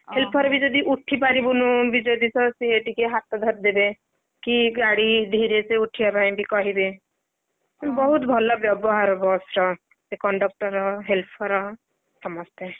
helper ବି ଯଦି ଉଠିପାରିବୁନି ବି ଯଦି ସିଏ ଟିକେ ହାତ ଧରି ଦେବେ କି ଗାଡି ଧୀରେସେ ଉଠିବା ପାଇଁବି କହିବେ। ବହୁତ୍ ଭଲ ବ୍ୟବହାର ବସ ର ସେ conductor, helper ସମସ୍ତେ